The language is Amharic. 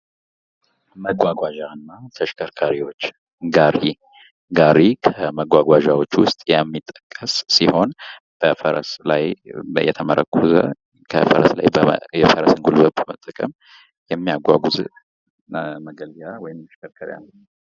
መጓጓዣ እና ተሽከርካሪዎች ጋሪ ጋሪ ከመጓጓዦች ውስጥ የሚጠቀስ ሲሆን፤ በፈረስ ላይ የተመረኮዘ ከፈረስ ጉልበት መጠቀም የሚያጓጉዝ መገልገያ ወይም ተሽከርካሪ አንዱ ነው።